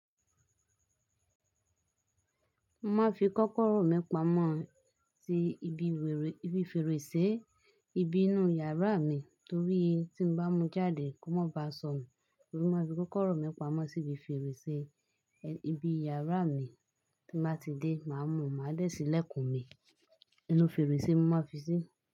Mo máa fi kọ́kọ́rọ́ mẹ́pàá mọ ti ibi fèrèsé ibi inú yàrá mi torí tí n bá mú jáde kó má ba sọ̀ mí. Mo máa fi kọ́kọ́rọ́ mẹ́pàá mọ síbi fèrèsé ibi yàrá mi tí máa ti dé, màá mú, màá dẹ́ sí ilẹ̀kùn mi inú fèrèsé mo máa fi sí.